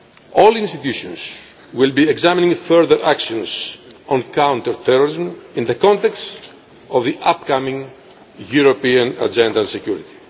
All the EU institutions will be examining further action on counter terrorism in the context of the upcoming European Agenda on Security.